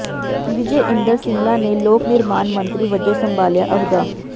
ਵਿਜੇ ਇੰਦਰ ਸਿੰਗਲਾ ਨੇ ਲੋਕ ਨਿਰਮਾਣ ਮੰਤਰੀ ਵਜੋਂ ਸੰਭਾਲਿਆ ਅਹੁਦਾ